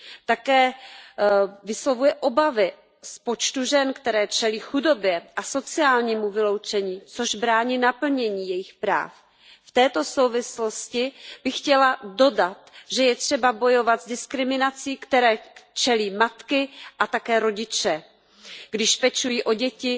Také vyslovuje obavy z počtu žen, které čelí chudobě a sociálnímu vyloučení, což brání naplnění jejich práv. V této souvislosti bych chtěla dodat, že je třeba bojovat s diskriminací, které čelí matky a také rodiče, když pečují o děti